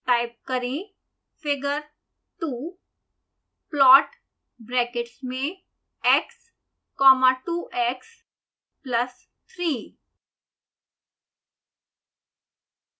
type करें